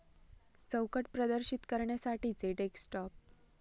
चौकट प्रदर्शित करण्यासाठीचे डेस्कटॉप